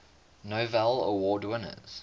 novello award winners